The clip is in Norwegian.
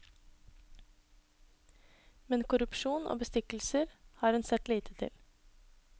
Men korrupsjon og bestikkelser har hun sett lite til.